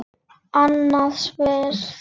Annað sverð.